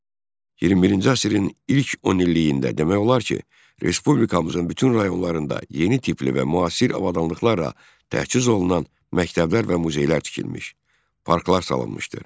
21-ci əsrin ilk 10 illiyində demək olar ki, respublikamızın bütün rayonlarında yeni tipli və müasir avadanlıqlarla təchiz olunan məktəblər və muzeylər tikilmiş, parklar salınmışdır.